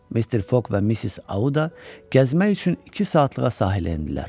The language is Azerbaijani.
Mister Foq və Missis Auda gəzmək üçün iki saatlığa sahilə endilər.